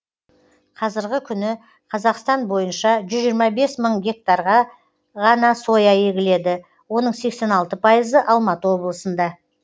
қазіргі күні қазақстан бойынша жүз жиырма бес мың гектарға ғана соя егіледі оның сексен алты пайызы алматы облысында